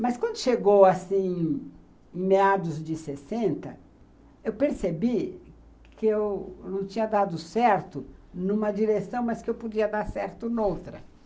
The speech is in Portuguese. Mas quando chegou assim, em meados de sessenta, eu percebi que eu não tinha dado certo numa direção, mas que eu podia dar certo noutra.